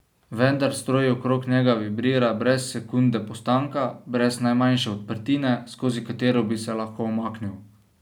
Vendar stroj okrog njega vibrira brez sekunde postanka, brez najmanjše odprtine, skozi katero bi se lahko umaknil.